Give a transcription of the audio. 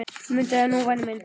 Mundu það nú væni minn.